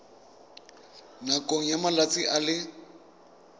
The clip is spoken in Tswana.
nakong ya malatsi a le